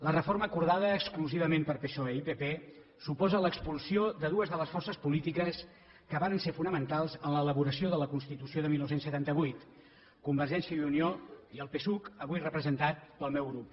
la reforma acordada exclusivament per psoe i pp suposa l’expulsió de dues de les forces polítiques que varen ser fonamentals en l’elaboració de la constitució de dinou setanta vuit convergència i unió i el psuc avui representat pel meu grup